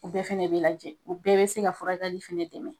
U bɛɛ fɛnɛ bɛ lajɛ, u bɛɛ bɛ se ka furakɛli fɛnɛ dɛmɛ .